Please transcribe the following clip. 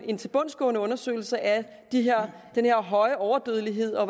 en tilbundsgående undersøgelse af den her høje overdødelighed og